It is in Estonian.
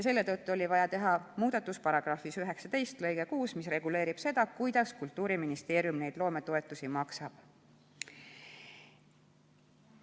Seetõttu oli vaja teha muudatus § 19 lõikes 6, mis reguleerib seda, kuidas Kultuuriministeerium loometoetusi maksab.